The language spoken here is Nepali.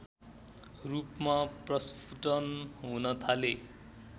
रूपमा प्रस्फुटन हुन थाले